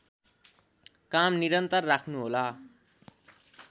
काम निरन्तर राख्नुहोला